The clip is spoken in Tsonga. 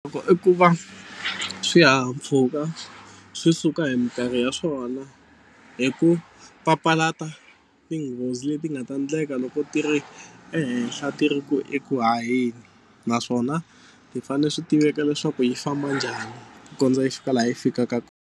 Loko i ku va swihahampfhuka swi suka hi mikarho ya swona hi ku papalata tinghozi leti nga ta endleka loko ti ri ehenhla ti ri ku eku haheni naswona ti fanele swi tiveka leswaku yi famba njhani ku kondza yi fika laha yi fikaka.